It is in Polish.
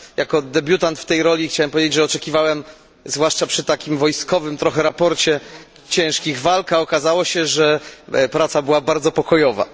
Jako debiutant w tej roli chciałem powiedzieć, że oczekiwałem, zwłaszcza przy takim trochę wojskowym raporcie, ciężkich walk, a okazało się, że praca była bardzo pokojowa.